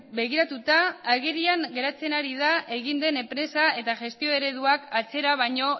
begiratuta agerian geratzen ari da egin den enpresa eta gestio ereduak atzera baino